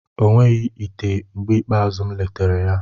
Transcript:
O nweghị ite mgbe ikpeazụ m letara ya.